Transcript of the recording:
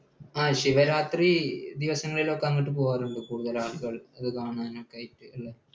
ആ ശിവരാത്രി ദിവസങ്ങളിലൊക്കെ അങ്ങോട്ട് പോകുന്നുണ്ട് കൂടുതൽ ആൾക്കാർ അത് കാണാൻ ഒക്കെ ആയിട്ട് അല്ലേ?